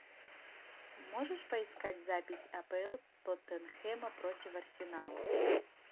можешь поискать запись апл тоттенхэма против арсенала